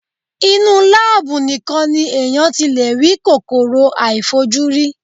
Inú láábù nìkan ni èèyàn ti lè rí kòkòrò àìfojúrí.